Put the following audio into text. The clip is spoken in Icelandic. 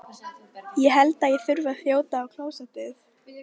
Ég held ég þurfi að þjóta á klósettið.